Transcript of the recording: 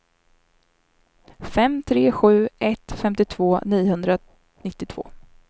fem tre sju ett femtiotvå niohundranittiotvå